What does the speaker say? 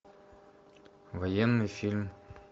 военный фильм